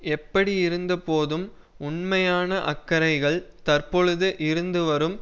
எப்படியிருந்த போதும் உண்மையான அக்கறைகள் தற்போது இருந்து வரும்